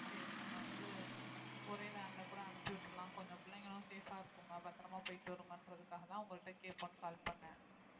சரி நம்ம வந்து ஒரே van ல கூட அனுப்பி விட்டுரலாம் கொஞ்சம் பிள்ளைங்களும் safe ஆ இருக்குங்க பத்திரமா போயிட்டு வருங்கன்றதுக்காகதான் உங்கள்ட்ட கேட்போம்ன்னு call பண்ணேன்